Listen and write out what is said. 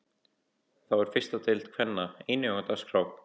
Þá er fyrsta deild kvenna einnig á dagskrá.